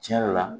Tiɲɛ yɛrɛ la